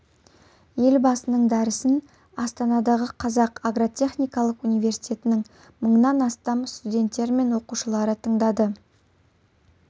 елбасының дәрісін астанадағы қазақ агротехникалық университетінің мыңнан астам студенттері мен оқытушылары тыңдады